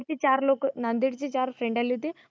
चार लोक नांदेड ची चार friend आले होते.